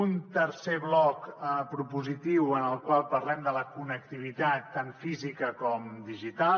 un tercer bloc propositiu en el qual parlem de la connectivitat tant física com digital